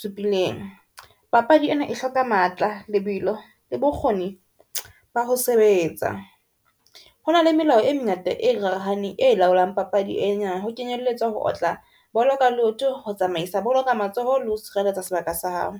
supileng. Papadi ena e hloka matla, lebelo le bokgoni ba ho sebetsa. Hona le melao e mengata e e laolang papadi ena ho kenyelletswa ho otla bolo ka leoto, ho tsamaisa bolo ka matsoho le ho sireletsa sebaka sa hao.